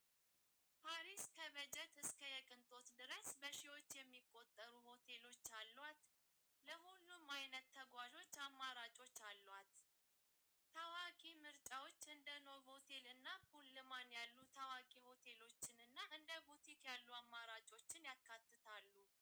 ፓሪስ ከበጀት እስከ የቅንጦት ድረስ በሢዎት የሚቖጠሩ ሆቴሎት ኣልዋት ለዂሉም ዓይነት ተጓዞ ኣማራጮት ኣልዋት ተዋኪ ምርጻዎት እንደኖ ቦቴልና ፑልማን ያሉ ተዋኪ ሆቴሎትንና እንደ ጐቲት ያሉ ኣማራጮትን ያካትታሉ።